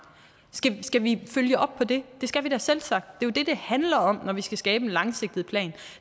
skal vi følge op på det det skal vi da selvsagt det er jo det det handler om når vi skal skabe en langsigtet plan